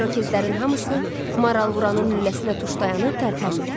İrokezlərin hamısı maralı vuranın lüləsinə tuş dayanıb tərpənmirdi.